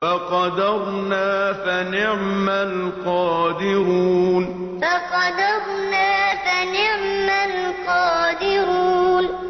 فَقَدَرْنَا فَنِعْمَ الْقَادِرُونَ فَقَدَرْنَا فَنِعْمَ الْقَادِرُونَ